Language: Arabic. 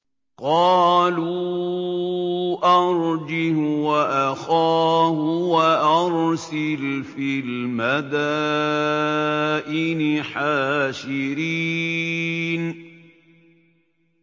قَالُوا أَرْجِهْ وَأَخَاهُ وَأَرْسِلْ فِي الْمَدَائِنِ حَاشِرِينَ